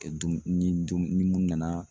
Kɛ dumuni ni dumuni ni mun nana